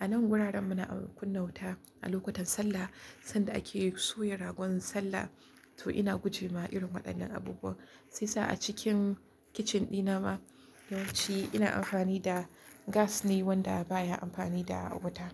A nan wuraren muna kunna wuta a lokutan sallah sanda ake soya ragon sallah. To ina gujewa irin waɗannan abubuwa. Shi yasa a cikin kicin ɗina ma yawanci ina amfani da gas ne wanda baya amfani da wuta.